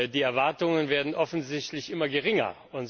Die Erwartungen werden offensichtlich immer geringer.